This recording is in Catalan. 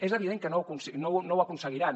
és evident que no ho aconseguiran